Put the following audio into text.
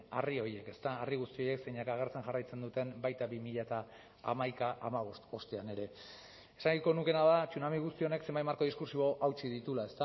harri horiek ezta harri guzti horiek zeinek agertzen jarraitzen duten baita bi mila hamaika hamabost ostean ere esan nahiko nukeena da tsunami guzti honek zenbait marko diskurtsibo hautsi dituela